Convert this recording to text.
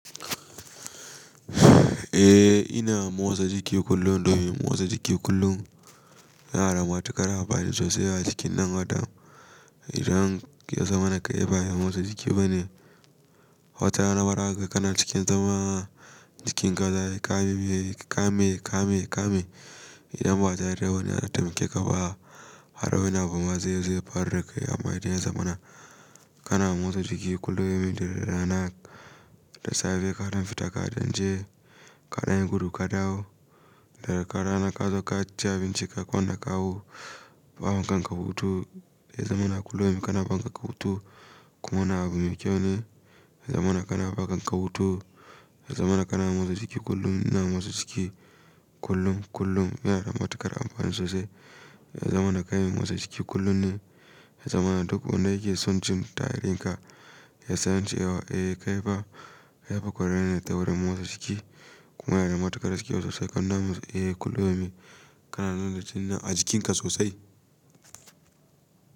Eh ina motsa jiki kullum domin motsa jiki kullum yana da matuƙar amfani sosai a jikin ɗan Adam idan ya zamana kai ba me motsa jiki bane. Wata rana fara kana cikin zama cikin ka zayi kame kame kame kame idan ba tare da wani ya taimake ka ba har wani abu ma zai zai ya faru dakai amma idan ya zamana kana motsa jiki kullum domin da rana da safe kaɗan fita kaɗan je kaɗan yi gudu kadawo da rana ka zo ka ci abinci ka kwana kawo ba ma kanka hutu. Ya zamana kullum kana ba kanka hutu kuma abu mai kyau ne ya zamana kana ba kanka hutu, ya zamana kana motsa jiki kullum ina motsa jiki kullum-kullum yana da matuƙar amfani sosai. Ya zamana kana motsa jiki kullum ne zamana duk wanda yake son jimta hayarinka ya san cewa eh kai ba yafi kwarai ne daura motsa jiki kuma yana da matuƙar kyau sosai kauna musu eh kullum ina kanana littani a jikinka sosai.